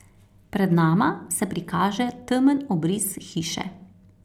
Pred nama se prikaže temen obris hiše.